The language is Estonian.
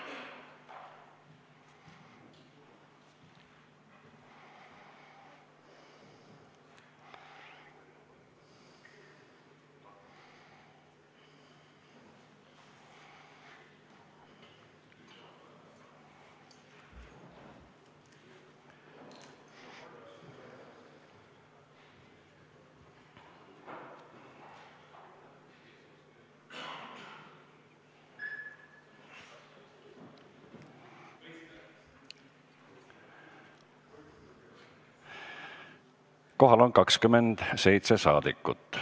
Kohaloleku kontroll Kohal on 27 saadikut.